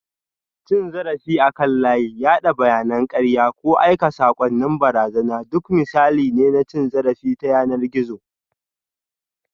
Cin zarafi akan layi, yada bayanan karya, ko aika saƙonnin barazana duk misalai ne na cin zarafi ta yanar gizo